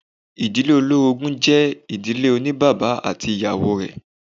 Ìdílé olórogún jẹ́ ìdílé oní bàbá ati awọn ìyàwó rẹ̀.